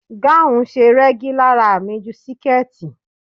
Gáun ṣe rẹ́gí lára mi ju siketi.